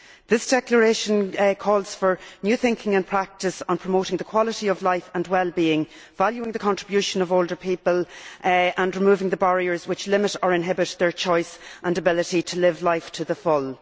This Declaration calls for new thinking in practice on promoting the quality of life and well being, valuing the contribution of older people and removing the barriers which limit or inhibit their choice and ability to live life to the full.